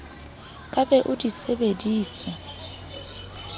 ka be o di sebeditse